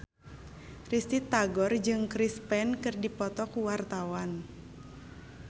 Risty Tagor jeung Chris Pane keur dipoto ku wartawan